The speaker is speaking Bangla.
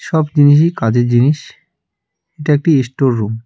সব জিনিসই কাজের জিনিস এটা একটা ইস্টোর রুম ।